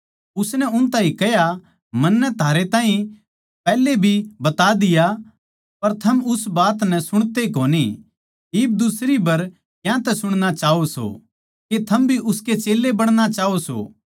उसनै उस ताहीं कह्या मन्नै तो थारै ताहीं पैहले भी बता दिया पर थम उस बात नै सुणते कोनी इब दुसरी बर क्यांतै सुणना चाहवो सो के थम भी उसके चेल्लें बणाना चाहवो सो